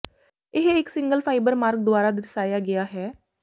ਇਹ ਇੱਕ single fibre ਮਾਰਗ ਦੁਆਰਾ ਦਰਸਾਇਆ ਗਿਆ ਹੈ